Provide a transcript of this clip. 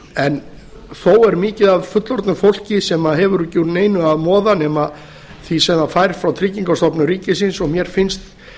vegi þó er mikið af fullorðnu fólki sem hefur ekki úr neinu að moða nema því sem það fær frá tryggingastofnun ríkisins og mér finnst